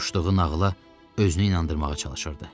Qoşduğu nağıla özünü inandırmağa çalışırdı.